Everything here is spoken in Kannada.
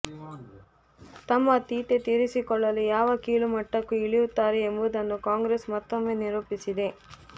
ತಮ್ಮ ತೀಟೆ ತೀರಿಸಿಕೊಳ್ಳಲು ಯಾವ ಕೀಳು ಮಟ್ಟಕ್ಕೂ ಇಳಿಯುತ್ತಾರೆ ಎಂಬುದನ್ನು ಕಾಂಗ್ರೆಸ್ ಮತ್ತೊಮ್ಮೆ ನಿರೂಪಿಸಿದೆ